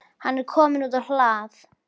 Hann er kominn út á hlað.